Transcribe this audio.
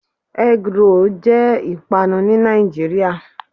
Egg roll' jé ìpanu ní Nàìjíríà